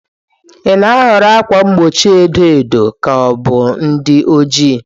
Ị na-ahọrọ ákwà mgbochi edo edo ka ọ bụ ndị ojii?